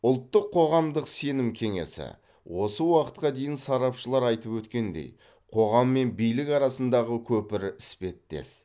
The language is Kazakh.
ұлттық қоғамдық сенім кеңесі осы уақытқа дейін сарапшылар айтып өткендей қоғам мен билік арасындағы көпір іспеттес